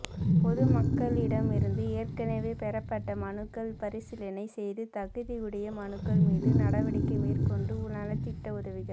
பொதுமக்களிடமிருந்து ஏற்கனவே பெறப்பட்ட மனுக்கள் பரிசீலனை செய்துதகுதியுடைய மனுக்கள் மீது நடவடிக்கை மேற்கொண்டு நலத்திட்ட உதவிகள்